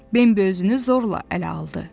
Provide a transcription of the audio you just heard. Bambi özünü zorla ələ aldı.